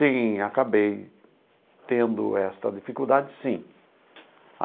Sim, acabei tendo esta dificuldade, sim.